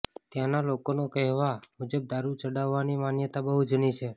ત્યાંના લોકોના કેહવા મુજબ દારુ ચડાવવાની માન્યતા બહુ જૂની છે